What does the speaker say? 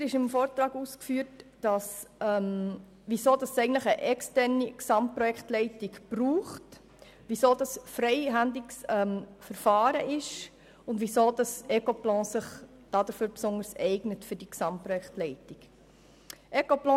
Weiter wird im Vortrag ausgeführt, weshab es eine externe Gesamtprojektleitung braucht, weshalb es sich um ein freihändiges Verfahren handelt und weshalb sich Ecoplan sich für die Gesamtprojektleitung besonders eignet.